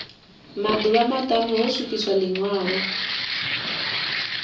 maḓuvha maṱanu ho swikiswa ḽiṅwalo